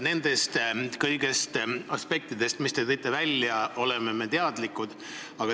Kõigist nendest aspektidest, mis te välja tõite, me oleme teadlikud.